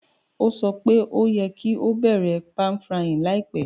Ó sọ pe o yẹ́ ki o bẹ̀rẹ̀ pan-frying láìpẹ́